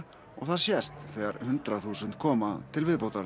og það sést þegar hundrað þúsund koma til viðbótar